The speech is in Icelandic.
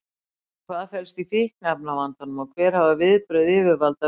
En hvað felst í fíkniefnavandanum og hver hafa viðbrögð yfirvalda verið?